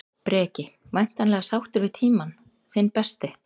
Breki: Væntanlega sáttur við tímann, þinn besti?